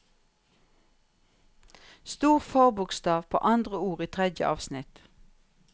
Stor forbokstav på andre ord i tredje avsnitt